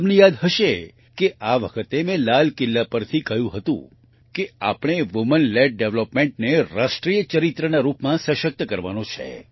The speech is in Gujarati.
તમને યાદ હશે કે આ વખતે મેં લાલ કિલ્લા પરથી કહ્યું હતું કે આપણે વુમેન લેડ Developmentનેરાષ્ટ્રીયચરિત્રનારૂપમાં શસક્ત કરવાનો છે